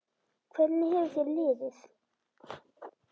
Hvernig hefur þér liðið?